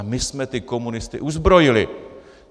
A my jsme ty komunisty uzbrojili.